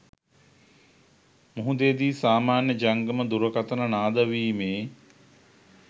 මුහුදේදි සාමාන්‍ය ජංගම දුරකථන නාද වීමේ